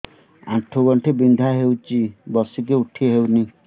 ଆଣ୍ଠୁ ଗଣ୍ଠି ବିନ୍ଧା ହଉଚି ବସିକି ଉଠି ହଉନି